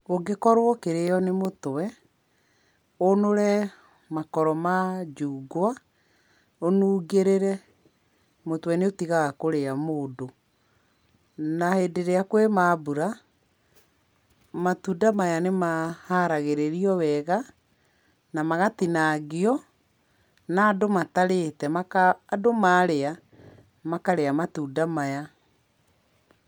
Ũngĩkorwo ũkĩrĩo nĩ mũtwe, ũnũre makoro ma njungwa, ũnungĩrĩre, mũtwe nĩ ũtigaga kũrĩa mũndũ. Na hĩndĩ íĩrĩa kwĩna mbura, matunda maya nĩ ma haragĩrĩrio wega, na magatinangio, na andũ matarĩte maka, andũ marĩa makarĩa matunda maya.